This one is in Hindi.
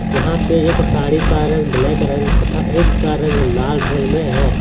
यहां पे एक साड़ी का रंग ब्लैक रंग तथा एक का रंग लाल रंग में है।